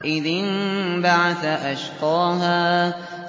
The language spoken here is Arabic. إِذِ انبَعَثَ أَشْقَاهَا